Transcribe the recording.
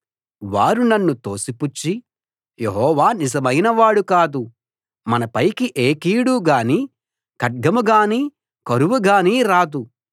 వారు నన్ను తోసిపుచ్చి యెహోవా నిజమైనవాడు కాదు మనపైకి ఏ కీడు గానీ ఖడ్గం గానీ కరువు గానీ రాదు